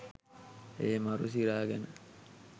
ඒ මරු සිරා ගැන